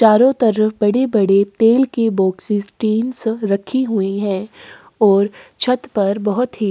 चारो तरफ बड़ी-बड़ी तेल की बोक्सीस टीन्स रखी हुई है ओर छत पर बहोत ही--